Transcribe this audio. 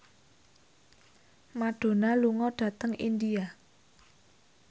Madonna lunga dhateng India